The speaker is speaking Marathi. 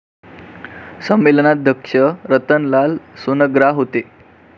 संमेलनाध्यक्ष रतनलाल सोनग्रा होते.